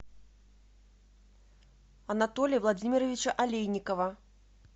анатолия владимировича алейникова